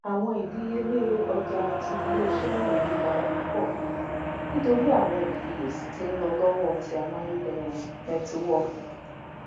awọn idiyele ọja ti ileiṣẹ naa yipada pupọ nitori awọn ifiyesi ti nlọ lọwọ ti amayederun nẹtiwọọki